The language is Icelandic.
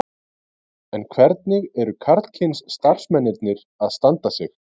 En hvernig eru karlkyns starfsmennirnir að standa sig?